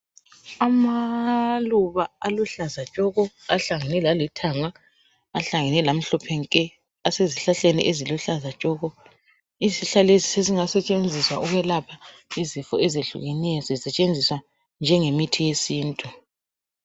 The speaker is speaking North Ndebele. Amaluba aluhlaza tshoko ahlangene lalithanga ahlangene lamhlophe nke. Asezihlahleni eziluhlaza tshoko izihlahla lezi sezingasetshenziswa ukwelapha izifo ezehlukeneyo zisetshenziswa njengemithi yesintu